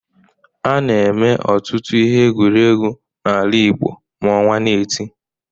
A na-eme ọtụtụ ihe egwuregwu n'ala Igbo ma ọnwa na-eti.